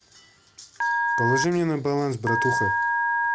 положи мне на баланс братуха